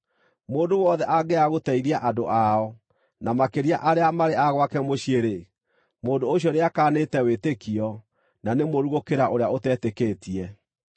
Mũndũ wothe angĩaga gũteithia andũ ao, na makĩria arĩa marĩ a gwake mũciĩ-rĩ, mũndũ ũcio nĩakaanĩte wĩtĩkio na nĩ mũũru gũkĩra ũrĩa ũtetĩkĩtie.